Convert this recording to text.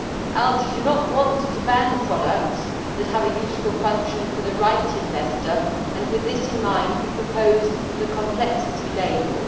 ALDE does not want to ban products that have a useful function for the right investor and, with this in mind, we proposed the complexity label.